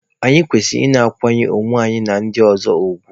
Anyị kwesịrị ị na-akwanyere onwe anyị na ndị ọzọ ugwu.